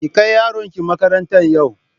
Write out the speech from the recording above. Ki kai yaronki makarantan yau!